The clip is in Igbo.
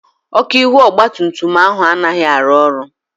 Ọ́kụ́ ihu ọgbatumtum ahụ anaghị arụ ọrụ.